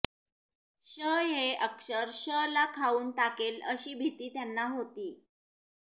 श हे अक्षर ष ला खाऊन टाकेल अशी भिती त्यांना होती